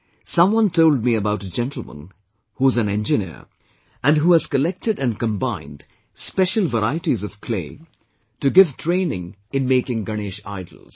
Someone told me about a gentleman who is an engineer and who has collected and combined special varieties of clay, to give training in making Ganesh idols